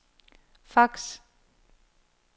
fax